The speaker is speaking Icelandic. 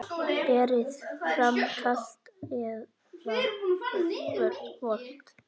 Berið fram kalt eða volgt.